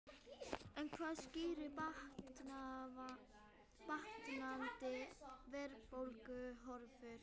En hvað skýrir batnandi verðbólguhorfur?